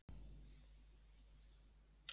Gissur: Nú ert þú á góðum batavegi ekki satt?